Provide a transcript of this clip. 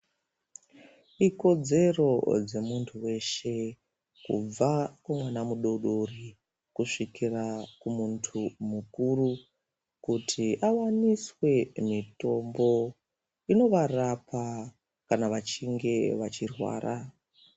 Ikodzero yemuntu weshe kubva kumwana mudodori kusvika kumuntu mukuru kuti awandise mutombo inovarapa kana vachinge vachirwara.